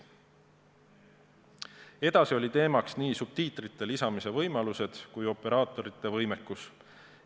Edasi olid teemaks nii subtiitrite lisamise võimalused kui ka operaatorite võimekus.